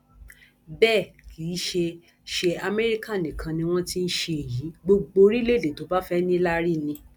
bẹẹ kì í ṣe ṣe amẹríkà nìkan ni wọn ti ń ṣe èyí gbogbo orílẹèdè tó bá fẹẹ níláárí ni